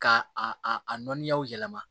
Ka a a nɔninyaw yɛlɛma